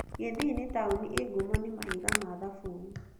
Kisii nĩ taũni ĩĩ ngumo nĩ mahiga ma thabuni.